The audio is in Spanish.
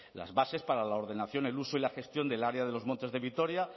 las bases para la ordenación el uso y la gestión del área de los montes de vitoria